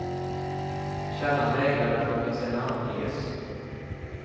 Källan vägrade att låta sig namnges.